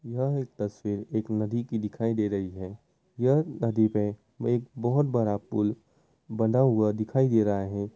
यह तस्वीर एक नदी की दिखाई दे रही है यह नदी पे एक बहुत बड़ा पुल बंधा हुआ दिखाई दे रहा है।